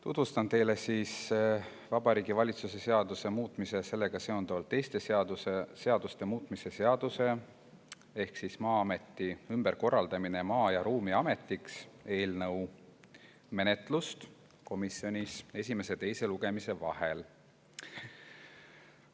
Tutvustan teile Vabariigi Valitsuse seaduse muutmise ja sellega seonduvalt teiste seaduste muutmise seaduse eelnõu menetlust komisjonis esimese ja teise lugemise vahel.